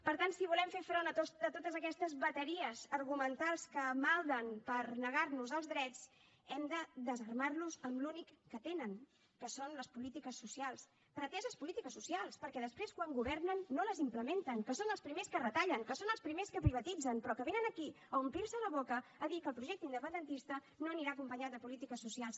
per tant si volem fer front a totes aquestes bateries argumentals que malden per negar nos els drets hem de desarmar los amb l’únic que tenen que són les polítiques socials preteses polítiques socials perquè després quan governen no les implementen que són els primers que retallen que són els primers que privatitzen però que vénen aquí a omplir se la boca a dir que el projecte independentista no anirà acompanyat de polítiques socials